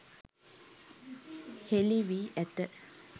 හෙළි වී ඇත.